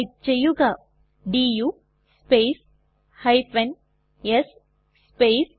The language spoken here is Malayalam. ടൈപ്പ് ചെയ്യുക ഡു സ്പേസ് s സ്പേസ്